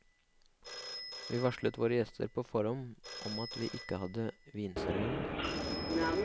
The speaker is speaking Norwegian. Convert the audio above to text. Vi varslet våre gjester på forhånd om at vi ikke hadde vinservering.